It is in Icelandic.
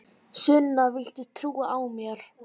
Sunna, viltu trúa á mig?